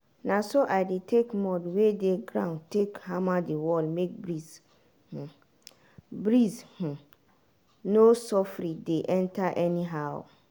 na so i take mud wey dey ground take hammer the wall make breeze um breeze um no soffri dey enter anyhow.